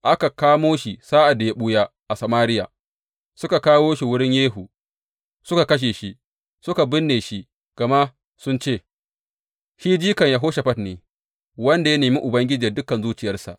Aka kamo shi sa’ad da ya ɓuya a Samariya, suka kawo shi wurin Yehu, suka kashe shi, suka binne shi, gama sun ce, Shi jikan Yehoshafat ne, wanda ya nemi Ubangiji da dukan zuciyarsa.